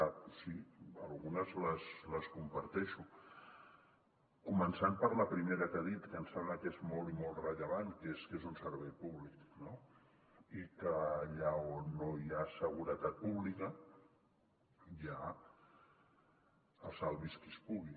doncs sí algunes les comparteixo començant per la primera que ha dit que em sembla que és molt i molt rellevant que és que és un servei públic no i que allà on no hi ha seguretat pública hi ha el salvi’s qui pugui